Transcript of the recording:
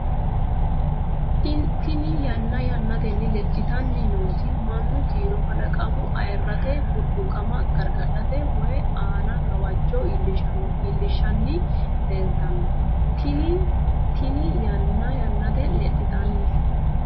Tini yanna yannatenni lexxitanni nooti mannu kiiro kalaqamu Ayyarete burquuqama gargadhate woy aana gawajjo iillishshanni leeltanno Tini yanna yannatenni lexxitanni.